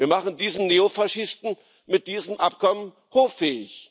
Wir machen diesen Neofaschisten mit diesem Abkommen hoffähig.